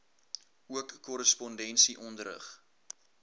ook korrespondensie onderrig